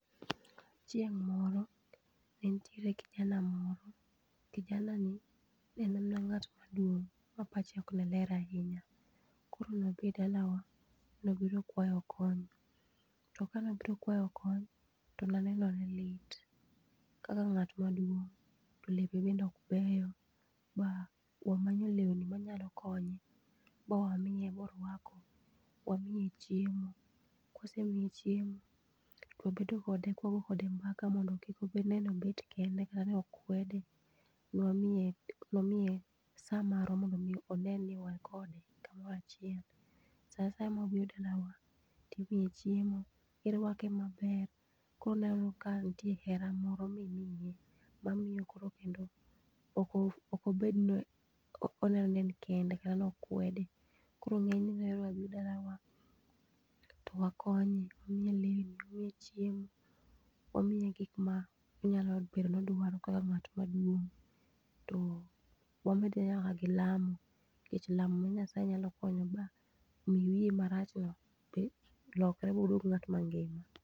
Cheng' moro ne nitiee kijana moro, kijani ne en ng'at ma duong to pache ne ok ler ahinya .kor ne obiro e dalawa ne obiro kwayo kony, to ka ne obiro kwayo kony to ne eneno ne lit kaka ng'atma duong to lepene ne ok beyo ma wamanyo lewni ma nyalo konyo ma wamiye moorwako ,wamiye chiemo, kawasemiye chiemo wabedo kode ka wago kode mbaka mondo kik one ni obet kende kata nokwede. e wamiye sa marwa mondo mi one ni wan kode kamoro achiel, sa asaya ma obiro dala wa to imye chiemo ti irwake ma ber ko oneno ka nitie hera mroo mi imiye ma miyo koro kendo ok obed ni oneno ni en kende dhano okwede. koro ng'enyne obi dlawa to wakony, wamye lewni ,wamiye chiemo ,wamiye gik ma onyalo bedo ni odwaro akka ngat maduong to wamede nyaka gi lamo .nikech lamo ma Nyasaye nyalo konyo wa mi wiye marach no lokre mo odwog ng'at ma ngima.